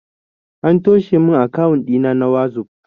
An toshe min akawun ɗina na wazof